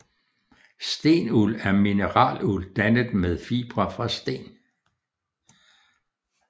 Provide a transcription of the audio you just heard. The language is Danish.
Stenuld er mineraluld dannet med fibre fra sten